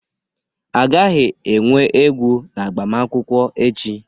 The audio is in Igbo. A gaghị enwe egwu na agbamakwụkwọ echi